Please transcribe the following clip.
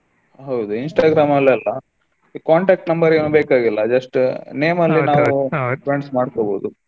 ಹೌದು Instagram ಲ್ಲಿ ಎಲ್ಲಾ ಈ contact number ಇನ್ನೂ ಬೇಕಾಗಿಲ್ಲಾ just name ಒಂದು friends ಮಾಡ್ಕೊಬಹುದು.